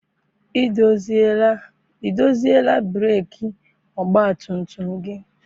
I doziela breeki ọgbatumtum gị?